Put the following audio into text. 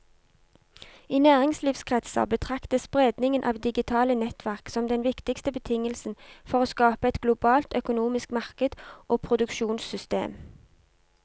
I næringslivskretser betraktes spredningen av digitale nettverk som den viktigste betingelsen for å skape et globalt økonomisk marked og produksjonssystem.